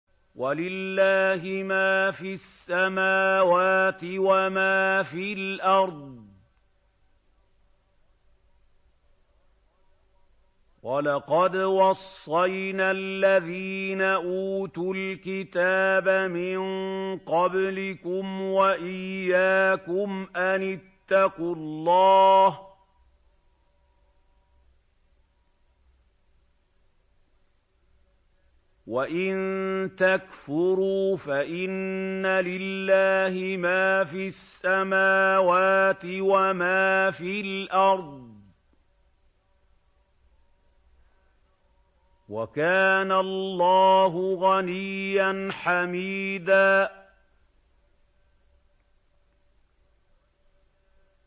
وَلِلَّهِ مَا فِي السَّمَاوَاتِ وَمَا فِي الْأَرْضِ ۗ وَلَقَدْ وَصَّيْنَا الَّذِينَ أُوتُوا الْكِتَابَ مِن قَبْلِكُمْ وَإِيَّاكُمْ أَنِ اتَّقُوا اللَّهَ ۚ وَإِن تَكْفُرُوا فَإِنَّ لِلَّهِ مَا فِي السَّمَاوَاتِ وَمَا فِي الْأَرْضِ ۚ وَكَانَ اللَّهُ غَنِيًّا حَمِيدًا